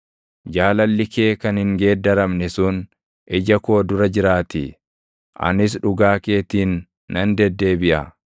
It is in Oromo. jaalalli kee kan hin geeddaramne sun ija koo dura jiraatii; anis dhugaa keetiin nan deddeebiʼa.